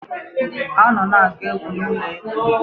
Ha nọ na-agụ egwu n'ụlọ egwu.